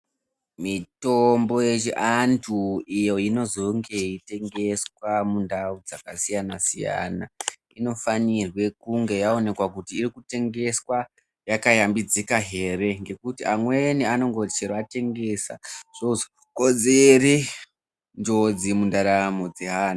Mitombo yechi anthu iyo inozonge yeitengeswa mundau dzakasiyana-siyana, inofanirwa kunge yaonekwa kuti iri kutengeswa yakayambidzika ere? Ngekuti amweni anongoti chero atengesa, zvozokonzere njodzi mundaramo dzeanthu.